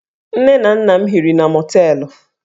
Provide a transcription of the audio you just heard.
Nne na nna m hiri na mọteelụ